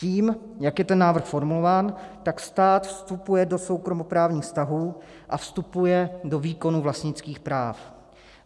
Tím, jak je ten návrh formulován, tak stát vstupuje do soukromoprávních vztahů a vstupuje do výkonu vlastnických práv.